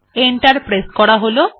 enter press করা হল